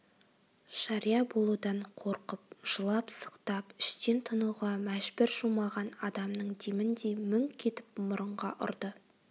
жария болудан қорқып жылап-сықтап іштен тынуға мәжбүр жумаған адамның деміндей мүңк етіп мұрынға ұрды